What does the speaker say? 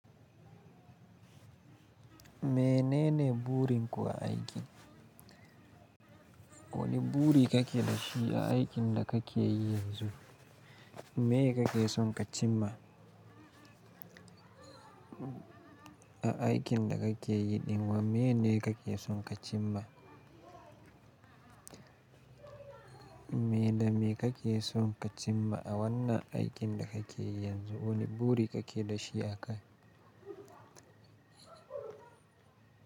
Menene burin ku a aiki? Wane buri kake da shi a aikin da kake yi yanzu? Me ye kake son ka cim ma? A aikin da kake yi ɗin wa, meyene kake son ka cim ma? Me da me kake son ka cim ma a wannan aikin da kake yi yanzu? Wane buri kake da shi a ka?